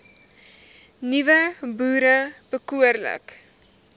nuwe boere behoorlik